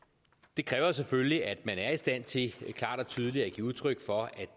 det kræver selvfølgelig at man er i stand til klart og tydeligt at give udtryk for at